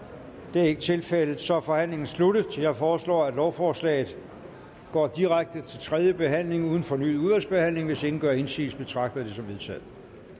det er ikke tilfældet så er forhandlingen sluttet jeg foreslår at lovforslaget går direkte til tredje behandling uden fornyet udvalgsbehandling hvis ingen gør indsigelse betragter jeg det som vedtaget